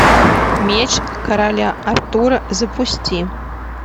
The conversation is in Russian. меч короля артура запусти